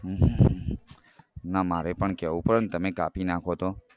ના મારે પણ કેવું પડે ને તમે કાપ નાખો તો